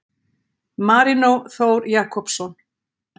Marino Þór Jakobsson